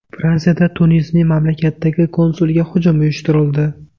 Fransiyada Tunisning mamlakatdagi konsuliga hujum uyushtirildi.